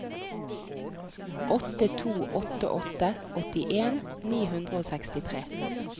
åtte to åtte åtte åttien ni hundre og sekstitre